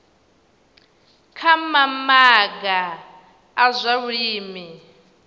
kha mamaga a zwa vhulimi